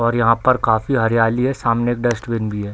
और यहाँ पर काफी हरियाली है सामने एक डस्टबिन भी है।